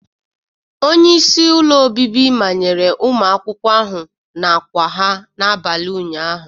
Onye isi ụlọ obibi manyere ụmụ akwụkwọ ahụ n'àkwà ha n'abalị ụnyaahụ